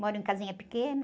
Moro em casinha pequena.